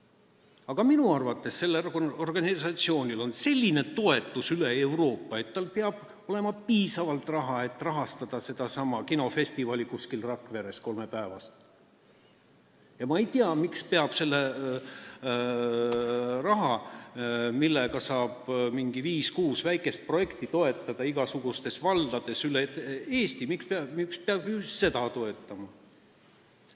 Aga minu arvates on sellel organisatsioonil selline toetus üle Euroopa, et tal peab olema piisavalt raha, et rahastada sedasama kolmepäevast kinofestivali kuskil Rakveres, ja ma ei tea, miks peab selle nõukogu rahaga, millega saaks toetada viit-kuut väikest projekti igasugustes valdades üle Eesti, just seda festivali toetama.